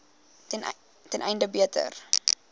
ten einde beter